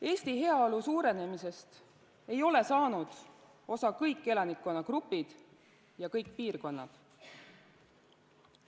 Eesti heaolu suurenemisest ei ole saanud osa kõik elanikkonnagrupid ja kõik piirkonnad.